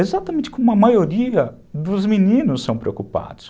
Exatamente como a maioria dos meninos são preocupados.